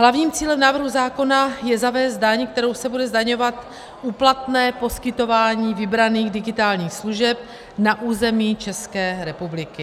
Hlavním cílem návrhu zákona je zavést daň, kterou se bude zdaňovat úplatné poskytování vybraných digitálních služeb na území České republiky.